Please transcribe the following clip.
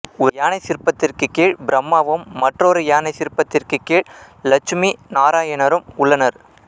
ஒரு யானை சிற்பத்திற்குக் கீழ் பிரம்மாவும் மற்றொரு யானை சிற்பத்திற்குக் கீழ் லட்சுமி நாராயணரும் உள்ளனர்